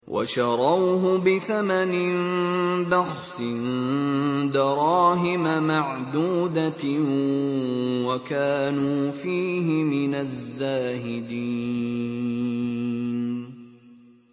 وَشَرَوْهُ بِثَمَنٍ بَخْسٍ دَرَاهِمَ مَعْدُودَةٍ وَكَانُوا فِيهِ مِنَ الزَّاهِدِينَ